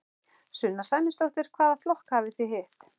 Sunna Sæmundsdóttir: Hvaða flokka hafið þið hitt?